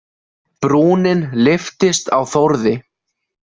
Brúnin lyftist á Þórði.